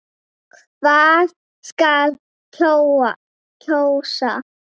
Hvað skal kjósa?